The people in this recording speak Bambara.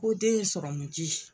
Ko den ye sɔrɔmiji